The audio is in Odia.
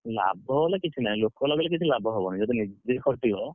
ଲାଭ ହେଲେ କିଛି ନାହିଁ ଲୋକ ଲଗେଇଲେ କିଛି ଲାଭ ହବ ନାହିଁ ଯଦି ନିଜେ ଖଟିବ,